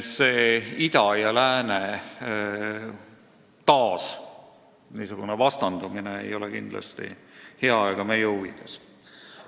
See ida ja lääne taasvastandumine ei ole kindlasti hea ega meie huvides.